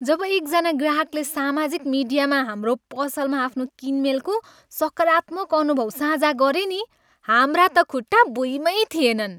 जब एकजना ग्राहकले सामाजिक मिडियामा हाम्रो पसलमा आफ्नो किनमेलको सकारात्मक अनुभव साझा गरे नि हाम्रा त खुट्टा भुईँमै थिएनन्।